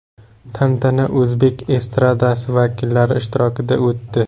Tantana o‘zbek estradasi vakillari ishtirokida o‘tdi.